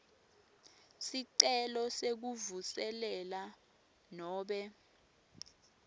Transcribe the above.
sicelo sekuvuselela nobe